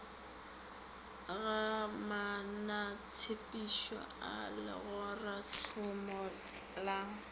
ga maanotshepetšo a legoratšhomo la